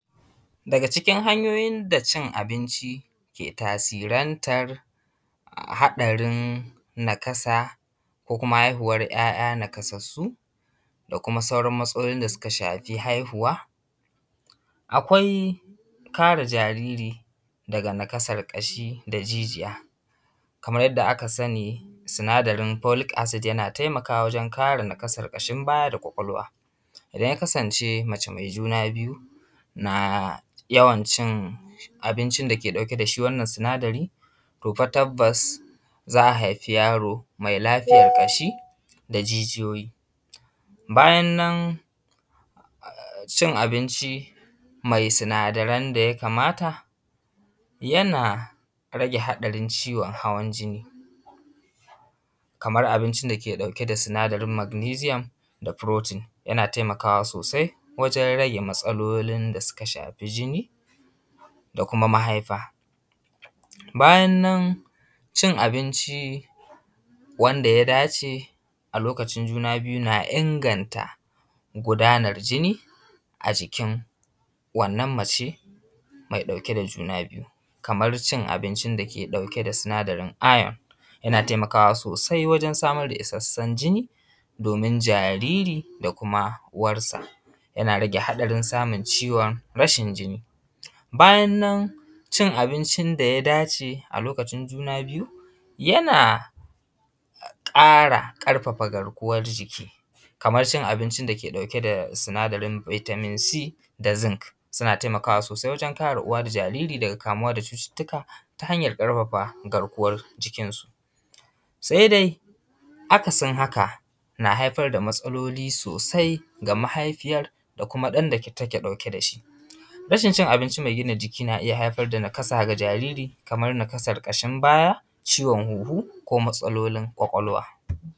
Daga cikin hanyoyin da cin abinci ke tasirantar haɗarin nakasa ko kuma haihuwar ‘ya’ya nakasassu, da kuma sauran matsalolin da suka shafi haihuwa, akwai kare jariri daga nakasar ƙashi da jijiya. Kamar yadda aka sani, sinadarin folic acid yana taimakawa wajen kare nakasar ƙashin baya da ƙwaƙwalwa. Idan ya kasance mace mai juna biyu na yawn cin abincin da ke ɗauke da shi wannan sinadarin, to fa tabbas za a haifi yaro mai lafiyar ƙashi da jijiyoyi. Bayan nan, cin abinci mai sinadaran da ya kamata, yana rage haɗarin ciwon hawan jini. Kamar abincin dake ɗauke da sinadarin magnesium da protein. Yana taimakawa sosai wajen rage matsalolin da suka shafi jini da kuma mahaifa. Bayan nan cin abinci wanda ya dace a lokacin juna biyu na inganta gudanar jini a jikin wannan mace mai ɗaku da juna biyu. Kamar cin abincin da ke ɗauke da sinadarin iron, yana taimakawa sosai wajen samar da isassun jini domin jariri da kuma uwarsa. Yana rage hatsarin samun ciwon rashin jini. Bayan nan cin abincin da ya dace a lokacin juna biyu yana ƙara ƙarfafa garkuwan jik, kamar cin acincin da ke ɗauke da sinadarin vitamin da zinc suna taimakawa sosai waje kare uwa da jariri daga kamwa da cututtuka ta hanyar ƙarfafa garkuwan jikin su. Sai dai akasin haka na haifar da matsaloli sosai ga mahaifiyar da kuma ɗan da take ɗauke da shi. Rashin cin abinci mai gina jiki na iya haifar da nakasa ga jariri kamar nakasar ƙashin baya, ciwon huhu, ko matsalolin ƙwaƙwalwa.